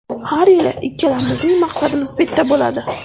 Har yili ikkalamizning maqsadimiz bitta bo‘ladi.